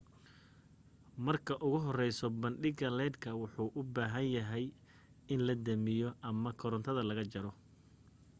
marka ugu horeysa badhanka leedhka waxa uu u bahan yahay in la damiyo ama korantada laga jaro